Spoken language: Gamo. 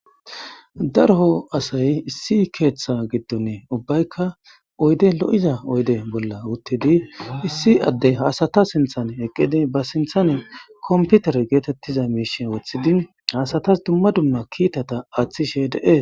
darho asay issi keeththa giddon ubbaykka oyde lo7iza oyde bolla wuttidi issi adde hasata sinthane eqqidi ba sinthane komputer geetettiza miishe woththidi haasatas dumma dumma kiitata aaththishe de7e